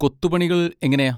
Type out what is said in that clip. കൊത്തുപണികൾ എങ്ങനെയാ?